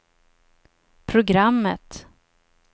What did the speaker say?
programmet